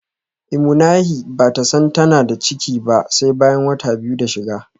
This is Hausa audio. imuhani bata san tana da ciki ba sai bayan wata biyu da shiga